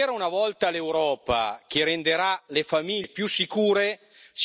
votre bilan. Nous avons besoin d'espérer.